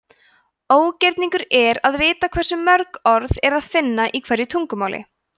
ógerningur er að vita hversu mörg orð er að finna í hverju tungumáli